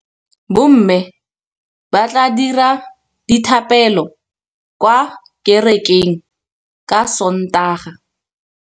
Bommê ba tla dira dithapêlô kwa kerekeng ka Sontaga.